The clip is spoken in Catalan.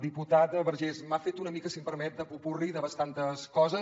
diputat vergés m’ha fet una mica si em permet de popurri de bastantes coses